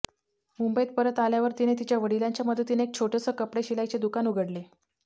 मुंबईत परत आल्यावर तिने तिच्या वडिलांच्या मदतीने एक छोटंसं कपडे शिलाईचे दुकान उघडले